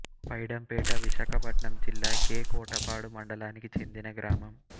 పైడంపేట విశాఖపట్నం జిల్లా కె కోటపాడు మండలానికి చెందిన గ్రామం